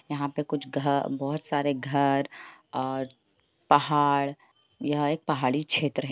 यहाँ पे कुछ घर बोहत सारे घर और पहाड़ है य एक पहाड़ी क्षेत्र है।